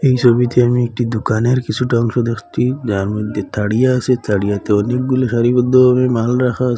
এই ছবিতে আমি একটি দোকানের কিছুটা অংশ দেখছি যার মধ্যে আছে অনেকগুলি সারিবদ্ধভাবে মাল রাখা আছে।